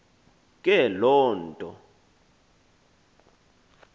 ke loo nto